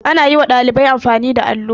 Ana yi wa ɗalibai amfani da allo.